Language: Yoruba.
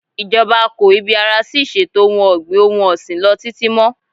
Ìjọba kò ibi ara sí iṣetò ohun-ọ̀gbìn-òhun-ọ̀sìn lọ títí mọ́.